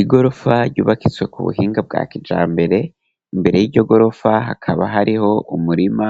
Igorofa ryubakitswe ku buhinga bwa kijambere, imbere yiryo gorofa hakaba hariho umurima